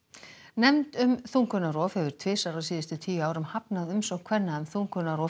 nefnd um þungunarrof hefur þrisvar á síðustu tíu árum hafnað umsókn kvenna um þungunarrof